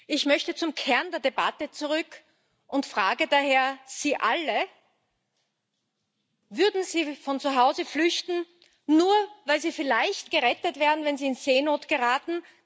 Ich möchte zum Kern der Debatte zurück und frage daher Sie alle Würden Sie von zu Hause flüchten, nur weil Sie vielleicht gerettet werden, wenn Sie in Seenot geraten?